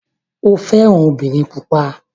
O fẹ́ran obìnrin pupa.